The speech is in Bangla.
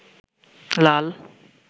লাল